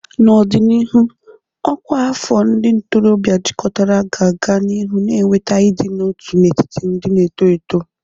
N'ọdịnihu, ọkwa afọ ndị ntorobịa jikọtara ga-aga n'ihu na-eweta ịdị n'otu n'etiti ndị na-eto eto.